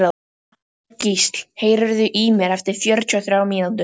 Þorgísl, heyrðu í mér eftir fjörutíu og þrjár mínútur.